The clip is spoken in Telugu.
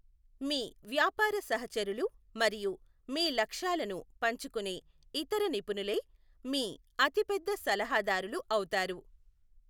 మీ వ్యాపార సహచరులు మరియు మీ లక్ష్యాలను పంచుకునే ఇతర నిపుణులే మీ అతి పెద్ద సలహాదారులు అవుతారు.